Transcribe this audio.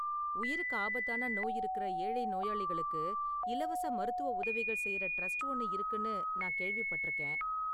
உயிருக்கு ஆபத்தான நோய் இருக்குற ஏழை நோயாளிகளுக்கு இலவச மருத்துவ உதவிகள் செய்யற டிரஸ்ட் ஒன்னு இருக்குனு நான் கேள்விப்பட்டிருக்கேன்.